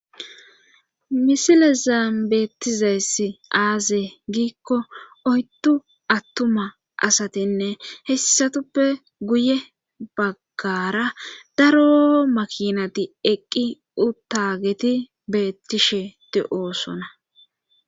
Misilezann beettizays aaze giikko oyddu attuma asatinne hessatuppe guye baggara daro makinati eqqi uttageti beettishe de7oosona.